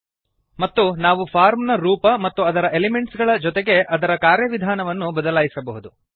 ಮತ್ತು ನಾವು ಫಾರ್ಮ್ ನ ರೂಪ ಮತ್ತು ಅದರ ಎಲಿಮೆಂಟ್ಸ್ ಗಳ ಜೊತೆಗೆ ಅದರ ಕಾರ್ಯವಿಧಾನವನ್ನು ಬದಲಾಯಿಸಬಹುದು